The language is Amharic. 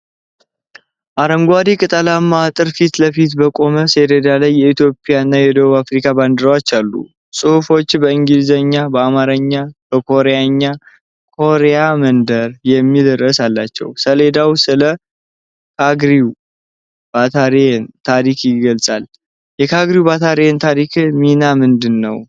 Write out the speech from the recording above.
አረንጓዴ ቅጠላማ አጥር ፊት ለፊት በቆመ ሰሌዳ ላይ የኢትዮጵያና የደቡብ ኮሪያ ባንዲራዎች አሉ። ጽሁፎች በእንግሊዝኛ፣ በአማርኛ እና በኮሪያኛ "ኮሪያን መንደር" የሚል ርዕስ አላቸው። ሰሌዳው ስለ "ካግኒው ባታሊዮን" ታሪክ ይገልጻል። የካግኒው ባታሊዮን ታሪካዊ ሚና ምንድን ነው?